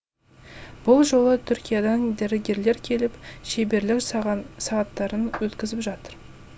бұл жолы түркиядан дәрігерлер келіп шеберлік сағаттарын өткізіп жатыр